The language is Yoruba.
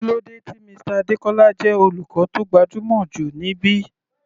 Kílódé tí Mr Adekola jẹ́ olùkọ́ tó gbajúmọ̀ jù níbí?